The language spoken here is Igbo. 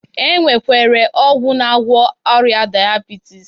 E nwekwere ọgwụ na-agwọ ọrịa dayabitis